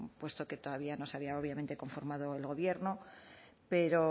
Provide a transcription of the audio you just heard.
puesto que todavía no se había obviamente conformado el gobierno pero